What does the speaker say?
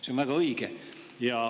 See on väga õige.